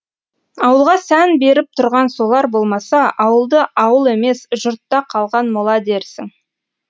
ауылға сән беріп тұрған солар болмаса ауылды ауыл емес жұртта қалған мола дерсің